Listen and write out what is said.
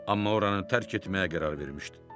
Amma oranı tərk etməyə qərar vermişdi.